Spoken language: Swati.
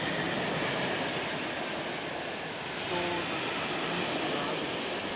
hlola kutsi ngabe